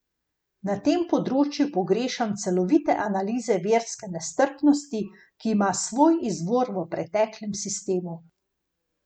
Na tem področju pogrešam celovite analize verske nestrpnosti, ki ima svoj izvor v preteklem sistemu.